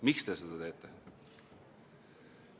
Miks te seda teete?